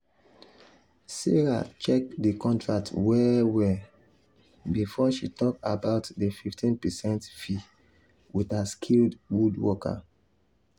sarah check the contract well well um before she talk about the 15 percent fee with her skilled woodworker.